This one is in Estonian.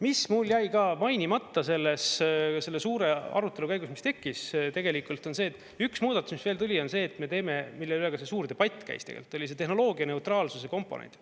Mis mul jäi ka mainimata selle suure arutelu käigus, mis tekkis, on tegelikult see, et üks muudatus, mis veel tuli, on see, et me teeme, mille üle ka see suur debatt käis tegelikult, oli see tehnoloogia neutraalsuse komponent.